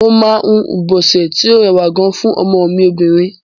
Mo máa hun ìbọ̀sẹ̀ tí ó rẹwà gan fún ọmọ mi obìnrin.